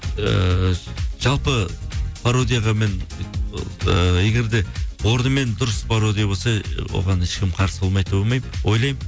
ыыы жалпы пародияға мен ыыы егер де орнымен дұрыс пародия болса оған ешкім қарсы болмайды деп ойлаймын